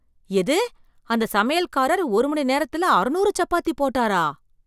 எது அந்த சமையல்காரர் ஒரு மணி நேரத்துல அறநூறு சப்பாத்தி போட்டாரா!